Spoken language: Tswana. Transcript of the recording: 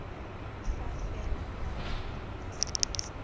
fa fela ngwana a nna